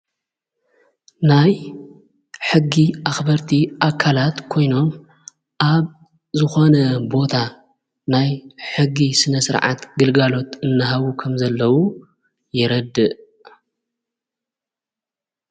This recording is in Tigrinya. ናይ ሕጊ ኣኽበርቲ ኣካላት ኮይኖም ኣብ ዝኾነ ቦታ ናይ ሕጊ ስነ ሥርዓት ግልጋሎት እንሃቡ ኸም ዘለዉ የረድእ::